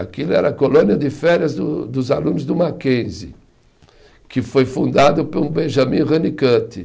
Aquilo era a colônia de férias do dos alunos do Mackenzie, que foi fundado por um Benjamin Honeycutt.